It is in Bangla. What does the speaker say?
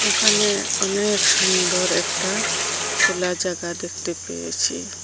এখানে অনেক সুন্দর একটা খোলা জায়গা দেখতে পেয়েছি।